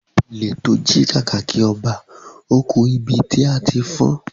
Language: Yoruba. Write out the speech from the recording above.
Ole tí o ji kàkàkí ọba, o ku ibití a tí fọn